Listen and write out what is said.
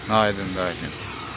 Aydındır, aydındır.